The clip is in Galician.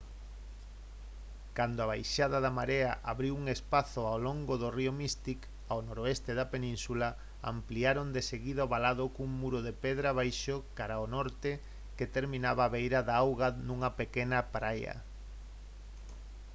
cando a baixada da marea abriu un espazo ao longo do río mystic ao noroeste da península ampliaron deseguida o valado cun muro de pedra baixo cara ao norte que terminaba á beira da auga nunha pequena praia